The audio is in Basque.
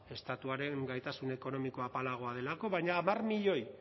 estatuaren gaitasun ekonomikoa apalagoa delako baina hamar milioi